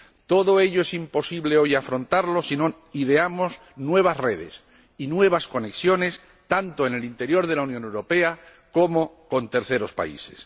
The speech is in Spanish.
Todo ello es imposible afrontarlo hoy si no ideamos nuevas redes y nuevas conexiones, tanto en el interior de la Unión Europea como con terceros países.